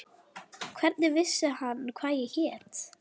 Hvernig vissi hann hvað ég hét?